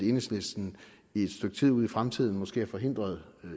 enhedslisten i et stykke tid ud i fremtiden måske er forhindret